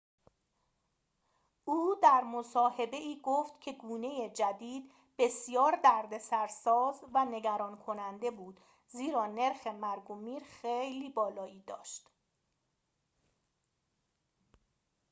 او در مصاحبه‌ای گفت که گونه جدید بسیار دردسرساز و نگران‌کننده بود زیرا نرخ مرگ و میر خیلی بالایی داشت